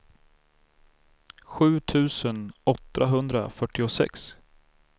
sju tusen åttahundrafyrtiosex